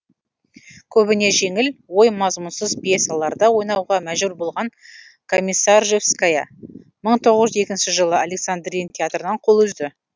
көбіне жеңіл ой мазмұнсыз пьесаларда ойнауға мәжбүр болған комиссаржевская мың тоғыз жүз екінші жылы александрин театрынан қол үзді